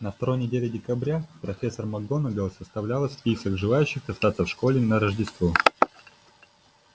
на второй неделе декабря профессор макгонагалл составила список желающих остаться в школе на рождество